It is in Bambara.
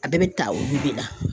A bɛɛ bɛ ta olu de la.